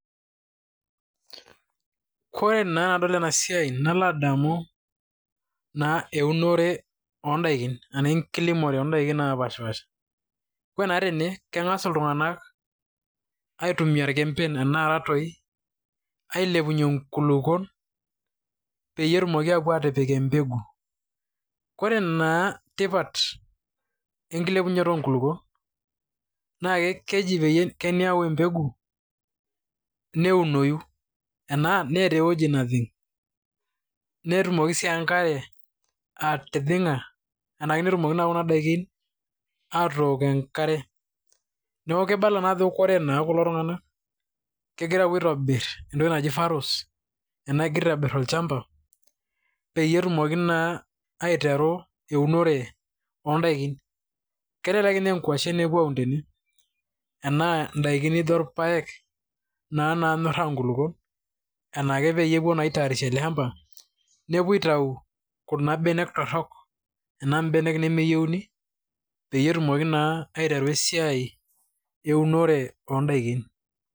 Koree naa tenadol enaa siai nalo adamu naa eunore odakin enaa enkilimore oodaikin napash pasha. Ore naa tene keng'as iltung'ana aitumia irkemben enaa toii ailepunye nkulukuok peyie etumoki apuo atipik embeku. Koree naa tipat enkilepunoto enkulupuok naa keji pee meaku embegu neunoi, enaa neetaaa eweji najing', netumoki sii enkare atijing'a naa petunoki kuna daikin atok enkare. Neeku kibala naa ajo ore kulo tung'ana kegira apuo aitobir entoki naji faros enaa egira aitobir olchamba peyie etumoki naa aiteru eunore odaikin. Kelelek ninye aa nkuashen epuo aun tene enaa daikin naijo irpaek naa nanyora nkulukuok, enaa kepuo naa aitarisha ele shamba nepuo aitau kuna benek torok enaa benek nemeyouni peyie etumoki naa aiteru esiai eunore oo dakin.